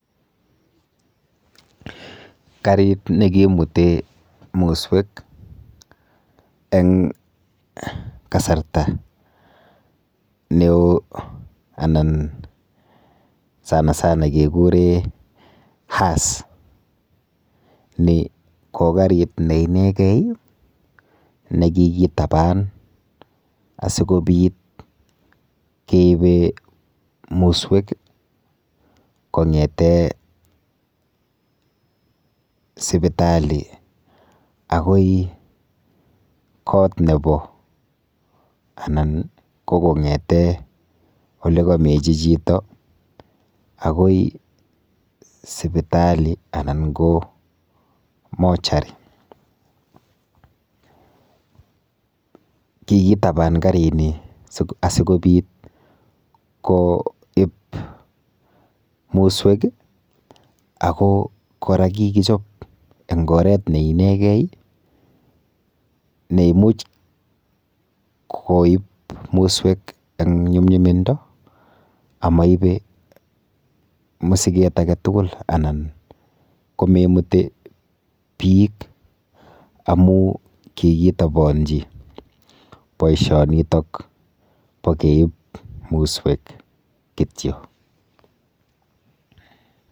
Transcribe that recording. Karit nekimute muswek eng kasarta neo anan sanasana kekure hearse. Ni ko karit ne inekei nekikitaban asikobit keipe muswek kong'ete sipitali akoi kot nepo anan ko kong'ete olekemechi chito akoi sipitali anan ko mortuary[sc]. Kikitaban karini asikobit koip muswek ako kora kikichop eng oret neinekei neimuch koip muswek eng nyumnyumindo amaipei musiket aketugul anan komemute biik amu kikitaponji boishonitok po keip muswek.